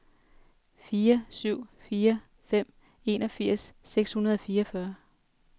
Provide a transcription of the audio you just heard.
fire syv fire fem enogfirs seks hundrede og fireogfyrre